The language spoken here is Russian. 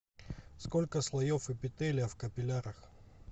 сколько слоев эпителия в капиллярах